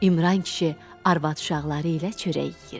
İmran kişi arvad-uşaqları ilə çörək yeyirdi.